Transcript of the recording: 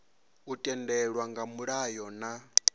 u tendelwa nga mulayo na